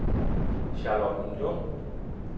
Charlottenlund